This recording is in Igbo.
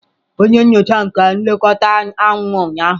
Onye nyocha nke onye nlekọta anwụ ụnyahụ.